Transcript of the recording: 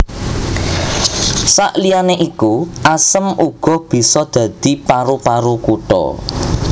Saliyané iku asem uga bisa dadi paru paru kutha